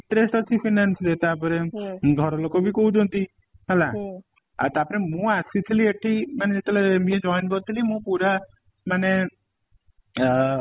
interest ଅଛି finance ରେ ତା ପରେ ଘର ଲୋକ ବି କହୁ ଛନ୍ତି ହେଲା ଆଉ ତା ପରେ ମୁଁ ଆସି ଥିଲି ଏଠି ମାନେ ଯେତେ ବେଳେ MBA join କରି ଥିଲି ମୁଁ ପୁରା ମାନେ ଅ